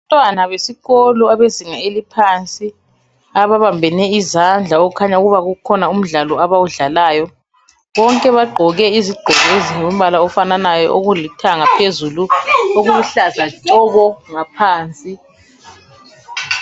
Abantwana besikolo abezinga eliphansi ababambene izandla okukhanya ukuba ukhona umdlalo abawudlalayo. Bonke bagqoke izigqoko ezilombala ofananayo okuluthanga phezulu okuluhlaza tshoko ngaphansi.